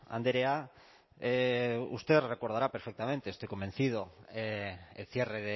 andrea usted recordará perfectamente estoy convencido el cierre